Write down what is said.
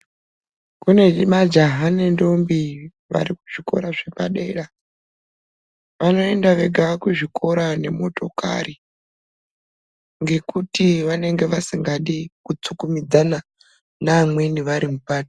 Kune majaha nentombi varikuzvikora zvepadera vanoenda vega kuzvikora nemotokari ngekuti vanenge vasingadi kutsukumidzana nemweni.